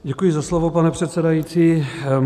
Děkuji za slovo, pane předsedající.